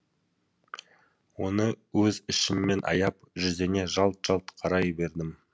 оны өз ішімнен аяп жүзіне жалт жалт қарай бердім